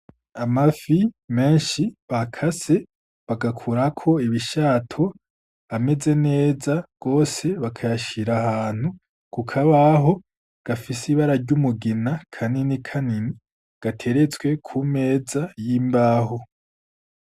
Amafi menshi bakase bagkurako ibishato ameze neza gose ,bagashira ahantu ku kabaho gafise ibara ry’umugina kanini nkumi gateretswe ku meza y’imbaho.